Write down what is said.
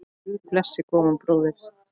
Guð blessi góðan bróður!